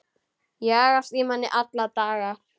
Jagast í manni alla daga.